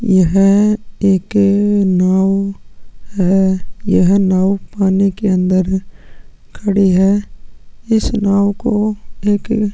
यहाँ एक नाव है यह नाव पानी के अंदर खड़ी है इस नाव को एक--